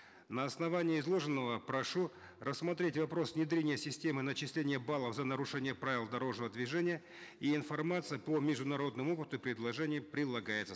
на основании изложенного прошу рассмотреть вопрос внедрения системы начисления баллов за нарушение правил дорожного движения и информация по международному опыту предложения прилагается